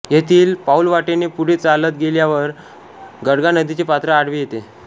येथील पाऊलवाटेने पुढे चालत गेल्यावर गडगा नदीचे पात्र आडवे येते